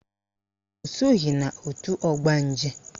O soghi n'òtù ọgbanje